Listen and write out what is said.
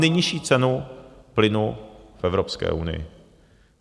Nejnižší cenu plynu v Evropské unii.